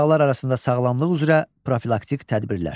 Uşaqlar arasında sağlamlıq üzrə profilaktik tədbirlər.